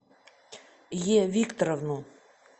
е викторовну